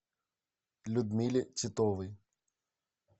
людмиле титовой